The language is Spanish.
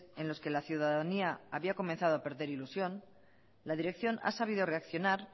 en los que la ciudadanía había comenzado a perder ilusión la dirección ha sabido reaccionar